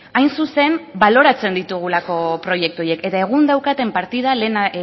hain zuzen baloratzen ditugulako proiektu horiek eta egun daukaten partida lehen